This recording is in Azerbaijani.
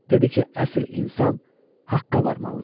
Dedi ki, əsl insan haqqa varmalıdır.